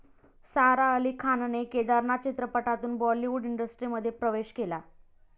सारा अली खानने 'केदारनाथ' चित्रपटातून बॉलिवूड इंडस्ट्रीमध्ये प्रवेश केला.